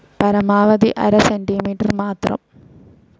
പരമാവധി അര സെന്റിമീറ്റർ മാത്രം.